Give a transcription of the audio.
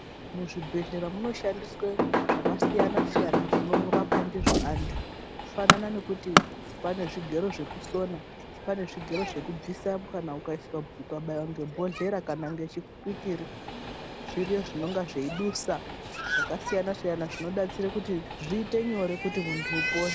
Muzvibhehlera munoshandiswe zvakasiyana -siyana zvinorapwa ndizvo antu. Kufanana nekuti pane zvigero zvekusona, pane zvigero zvekubvisa kana ukabaiwa bhodhlera kana ngechipikiri zviriyo zvinonga zveidusa zvakasiyana-siyana kuti muntu upone.